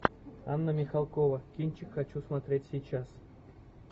анна михалкова кинчик хочу смотреть сейчас